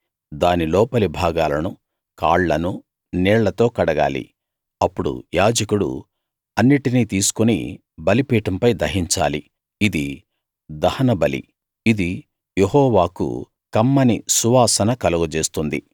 దాని లోపలి భాగాలనూ కాళ్ళనూ నీళ్ళతో కడగాలి అప్పుడు యాజకుడు అన్నిటినీ తీసుకుని బలిపీఠం పై దహించాలి ఇది దహనబలి ఇది యెహోవాకు కమ్మని సువాసన కలుగజేస్తుంది